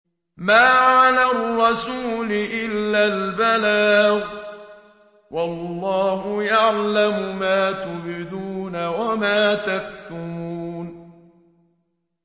مَّا عَلَى الرَّسُولِ إِلَّا الْبَلَاغُ ۗ وَاللَّهُ يَعْلَمُ مَا تُبْدُونَ وَمَا تَكْتُمُونَ